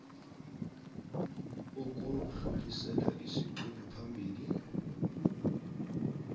ukudlulisela isiqunto phambili